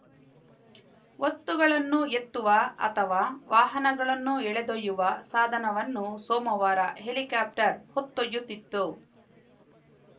ವಸ್ತುಗಳನ್ನು ಎತ್ತುವ ಅಥವಾ ವಾಹನಗಳನ್ನು ಎಳೆದೊಯ್ಯುವ ಸಾಧನವನ್ನು ಸೋಮವಾರ ಹೆಲಿಕಾಪ್ಟರ್‌ ಹೊತ್ತೊಯ್ಯುತ್ತಿತ್ತು